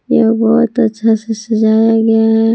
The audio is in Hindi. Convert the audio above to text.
यह बहोत अच्छा से सजाया गया है।